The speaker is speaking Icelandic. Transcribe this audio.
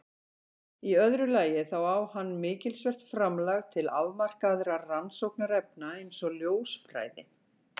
Í öðru lagi þá á hann mikilsvert framlag til afmarkaðra rannsóknarefna eins og ljósfræði.